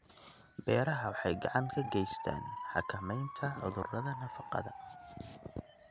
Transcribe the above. Beeraha Beeraha waxay gacan ka geystaan ??xakamaynta cudurrada nafaqada.